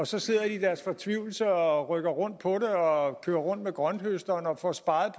så sidder i deres fortvivlelse og rykker rundt på det og kører rundt med grønthøsteren og får sparet